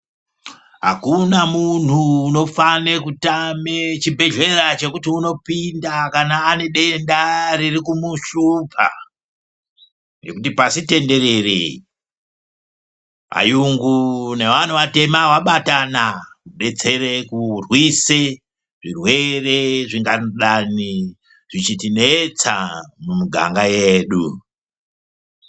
Hakuna muntu unofane kutame chibhedhlera chekuti unopina kana ane denda ririkumuhlupa. Ngekuti pasitenderere vayungu nevantu vatema vabatana kubetsere kurwise zvirwere zvingadani zvichitinetsa mumuganga yedu.